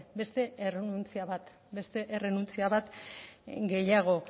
beste errenuntzia bat beste errenuntzia bat gehiago